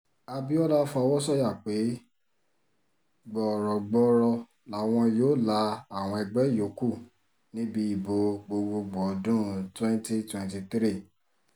abiola fọwọ́ sọ̀yà pé gbọ̀ọ̀rọ̀ gbọọrọ làwọn yóò la àwọn ẹgbẹ́ yòókù níbi ìbò gbogboògbò ọdún 2023